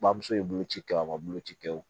Bamuso ye bolo ci kɛ o ma boloci kɛ o